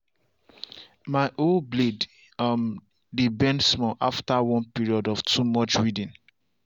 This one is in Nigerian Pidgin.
my hoe blade um dey bend small after one period of too much weeding.